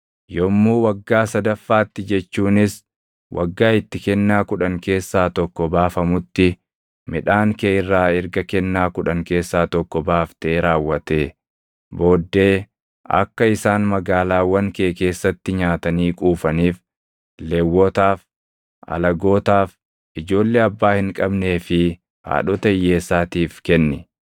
Yommuu waggaa sadaffaatti jechuunis waggaa itti kennaa kudhan keessaa tokko baafamutti midhaan kee irraa erga kennaa kudhan keessaa tokko baaftee raawwatee booddee akka isaan magaalaawwan kee keessatti nyaatanii quufaniif Lewwotaaf, alagootaaf, ijoollee abbaa hin qabnee fi haadhota hiyyeessaatiif kenni.